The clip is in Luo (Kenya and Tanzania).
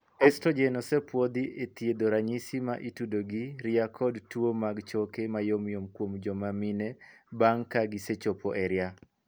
Estrogen' osepuodhi e thiedho ranyisi ma itudo gi ria kod tuo mag choke mayomyom kuom joma mine bang' ka gisechopo e ria.